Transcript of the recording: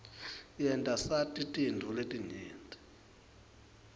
yenta sati tintfo letinyenti